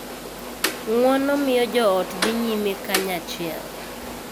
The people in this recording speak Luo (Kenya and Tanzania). Ng�uono miyo jo ot dhi nyime kanyachiel,